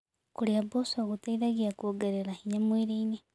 Kũrĩa mboco gũteĩthagĩa kũongerera hinya mwĩrĩĩnĩ